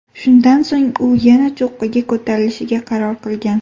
Shundan so‘ng u yana cho‘qqiga ko‘tarilishga qaror qilgan.